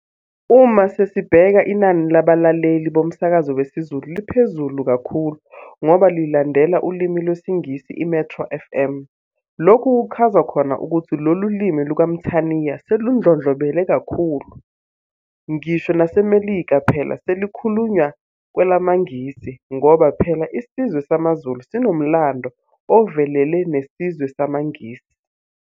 Uma sesibheka inani labalaleli bomsakazo wesiZulu liphezulu kakhulu ngoba lilandela ulimi lwesiNgisi iMetro fm. Lokhu kuchaza khona ukuthi lolu limi lukaMthaniya seludlondlobele kakhulu, ngisho naseMelika phela selikhulunywa kwelamaNgisi, ngoba phela isizwe samaZulu sinomlando ovelele nesizwe samaNgisi.